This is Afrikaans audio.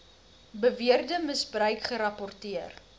beweerde misbruik gerapporteer